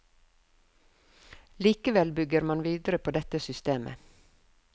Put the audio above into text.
Likevel bygger man videre på dette systemet.